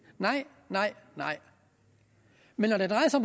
nej nej nej men når det drejer sig